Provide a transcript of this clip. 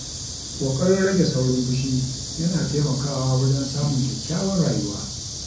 Ƙoƙarin rage saurin fushi yana taimakawa wajen samun kyakkyawar rayuwa.